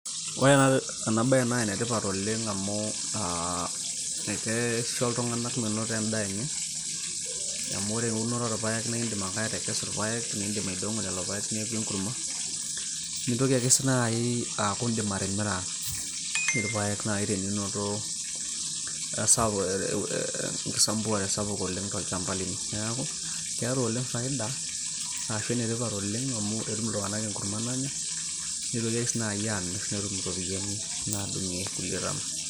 ore ena baye naa enetipat oleng amu aa akeisho iltung'anak menoto endaa enye amu ore eunore oorpayek naa indim ake atekesu irpayek niindim aidong'o lelo payek neeku enkurma nintoki ake sii naaji aaku indim atimira irpayek naaji teninoto esapuk enkisambuare sapuk oleng tolchamba lino neeku keeta oleng faida aashu enetipat oleng amu etum iltung'anak enkurma nanya nitoki ake sii naaji amirr netum iropiyiani naadung'ie kulie tana.